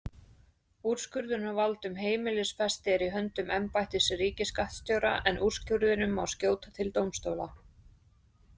Úrskurðarvald um heimilisfesti er í höndum embættis ríkisskattstjóra en úrskurðinum má skjóta til dómstóla.